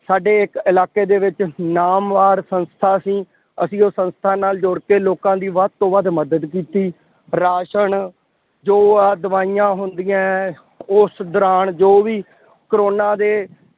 ਸਾਡੇ ਇੱਕ ਇਲਾਕੇ ਦੇ ਵਿੱਚ ਨਾਮਵਾਰ ਸੰਸਥਾ ਸੀ। ਅਸੀਂ ਉਹ ਸੰਸਥਾ ਨਾਲ ਜੁੜ ਕੇ ਲੋਕਾਂ ਦੀ ਵੱਧ ਤੋਂ ਵੱਧ ਮਦਦ ਕੀਤੀ। ਰਾਸ਼ਨ ਜੋ ਆਹ ਦਵਾਈਆਂ ਹੁੰਦੀਆਂ। ਉਸ ਦੌਰਾਨ ਜੋ ਵੀ ਕੋਰੋਨਾ ਦੇ